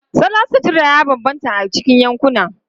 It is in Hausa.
Salon sutura ya bambanta a cikin yankuna.